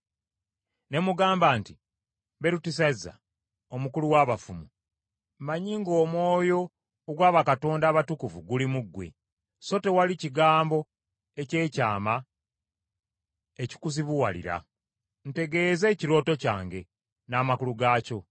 Ne mugamba nti, “Berutesazza, omukulu w’abafumu, mmanyi ng’omwoyo ogwa bakatonda abatukuvu guli mu ggwe, so tewali kigambo eky’ekyama ekikuzibuwalira. Ntegeeza ekirooto kyange, n’amakulu gaakyo.